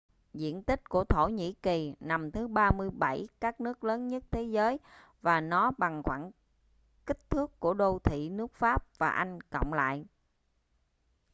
diện tích của thổ nhĩ kỳ nằm thứ 37 các nước lớn nhất thế giới và nó bằng khoảng kích thước của đô thị nước pháp và anh cộng lại